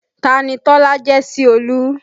Tani Tọ́lá jẹ́ sí Olú?